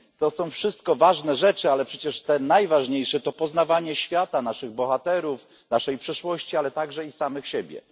To są wszystko ważne rzeczy, ale przecież te najważniejsze to poznawanie świata, naszych bohaterów, naszej przeszłości, ale także i samych siebie.